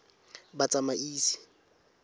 batsamaisi